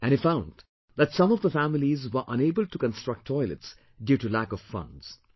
And he found that some of the families were unable to construct toilets due to lack of funds